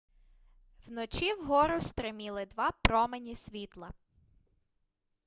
вночі вгору стриміли два промені світла